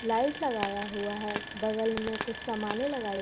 light लगाया हुआ है बगल में कुछ सामाने लगाए--